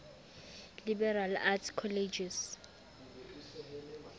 liberal arts colleges